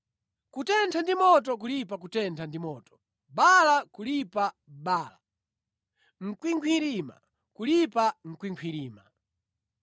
Kutentha ndi moto kulipa kutentha ndi moto, bala kulipa bala, mkwingwirima kulipa mkwingwirima.